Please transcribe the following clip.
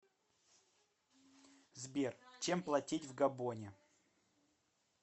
сбер чем платить в габоне